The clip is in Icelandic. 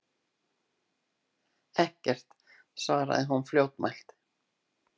Ekkert, svaraði hún fljótmælt.